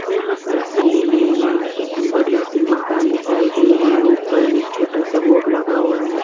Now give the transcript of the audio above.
यहाँ पर सिने मे एक बड़ी सी मकान दिखाई दे रही उपर मे एक छोटासा बोर्ड लगा हुआ है।